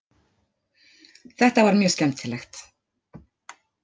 Þetta var mjög skemmtilegt